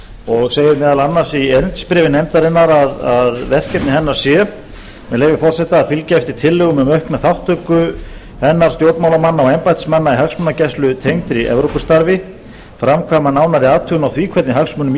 og segir meðal annars í erindisbréfi nefndarinnar að verkefni hennar sé með leyfi forseta að fylgja eftir tillögum um aukna þátttöku hennar stjórnmálamanna og embættismanna í hagsmunagæslu tengdri evrópustarfi framkvæma nánari athugun á því hvernig hagsmunum